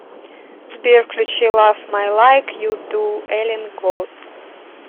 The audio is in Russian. сбер включи лав май лайк ю ду эллен голд